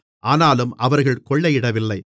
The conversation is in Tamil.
ஆனாலும் அவர்கள் கொள்ளையிடவில்லை